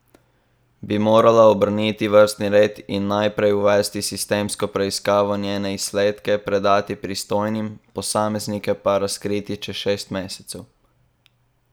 Bi morala obrniti vrstni red in najprej uvesti sistemsko preiskavo, njene izsledke predati pristojnim, posameznike pa razkriti čez šest mesecev?